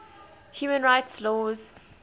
human rights law